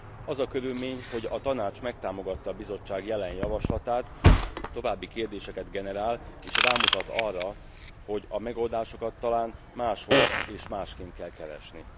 Az a körülmény, hogy a Tanács megtámogatta a Bizottság jelen javaslatát további kérdéseket generál, és rámutat arra, hogy a megoldásokat talán máshol és másként kell keresni.